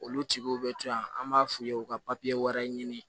Olu tigiw bɛ to yan an b'a f'u ye u ka wɛrɛ ɲini